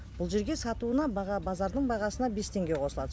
бұл жерге сатуына баға базардың бағасына бес теңге қосылады